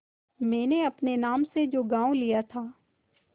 मैंने अपने नाम से जो गॉँव लिया था